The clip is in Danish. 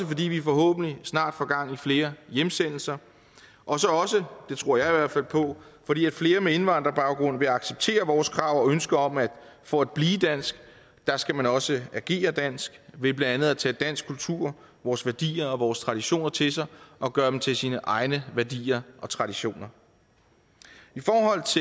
fordi vi forhåbentlig snart får gang i flere hjemsendelser og så også det tror jeg fald på fordi flere med indvandrerbaggrund vil acceptere vores krav og ønske om at for at blive dansk skal man også agere dansk ved blandt andet at tage dansk kultur vores værdier og vores traditioner til sig og gøre dem til sine egne værdier og traditioner